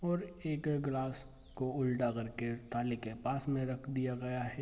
और एक गिलास को उल्टा कर के थाली के पास में रख दिया गया है।